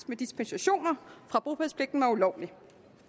med dispensationer fra bopælspligten var ulovlig